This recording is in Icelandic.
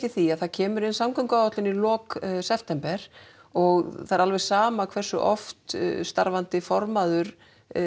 því að það kemur inn samgönguáætlun í lok september og það er alveg sama hversu oft starfandi formaður